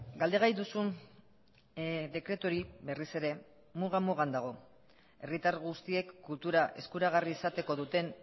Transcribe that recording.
galdegai duzun dekretu hori berriz ere muga mugan dago herritar guztiek kultura eskuragarri izateko duten